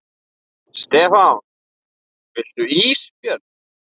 Stefán: Viltu ís Björn?